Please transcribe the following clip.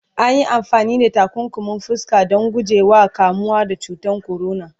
anyi amfani da takunkumin fuska Dan guje wa kamuwa da cutan corona